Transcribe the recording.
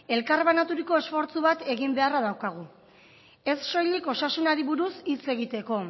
elkarbanaturiko esfortzu bat egin beharra daukagu ez soilik osasunari buruz hitz egiteko